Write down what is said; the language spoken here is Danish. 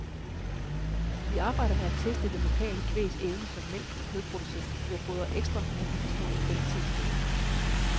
Vi arbejder med at teste det lokale kvægs evne som mælk- og kødproducent ved at fodre ekstra med en lille smule kvalitetsfoder.